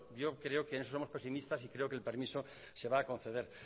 yo creo que en eso somos pesimistas y creo que el permiso se va a conceder